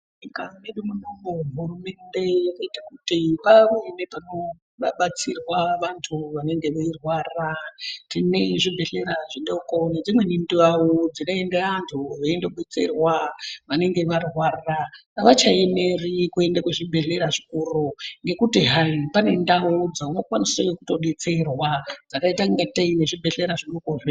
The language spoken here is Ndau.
Munyika medu muno hurumende yakaita kuti pave nepekubatsirwa vantu vanenge veirwara. Tine zvibhedhlera zvidoko nedzimweni ndau dzinoenda antu veindodetserwa vanenge varwara, havachaemeri kuende kuzvibhedhlera zvikuru ngekuti hai pane ndau dzaunokwanise kutodetserwa dzakaita ngatei nezvibhedhlera zvidoko zve..